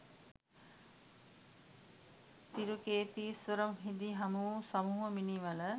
තිරුකේතීස්වරම් හිදී හමු වූ සමුහ මිනී වල